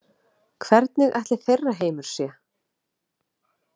Hvernig ætli þeirra heimur sé?